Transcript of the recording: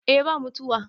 eh ba mutuwa